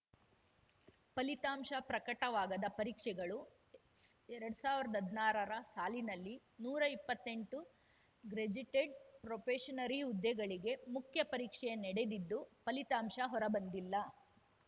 ಫಲಿತಾಂಶ ಪ್ರಕಟವಾಗದ ಪರೀಕ್ಷೆಗಳು ಎರಡ್ ಸಾವ್ರ್ದಾ ಹದ್ನಾರರ ಸಾಲಿನಲ್ಲಿ ನೂರಾ ಇಪ್ಪತ್ತೆಂಟು ಗ್ರೆಜಿಟೆಡ್‌ ಪ್ರೊಬೆಷನರಿ ಹುದ್ದೆಗಳಿಗೆ ಮುಖ್ಯಪರೀಕ್ಷೆ ನಡೆದಿದ್ದು ಫಲಿತಾಂಶ ಹೊರಬಂದಿಲ್ಲ